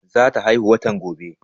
Za ta haihuw watan gobe